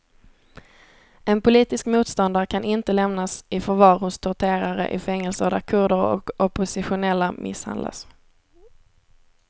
En politisk motståndare kan inte lämnas i förvar hos torterare i fängelser där kurder och oppositionella misshandlas.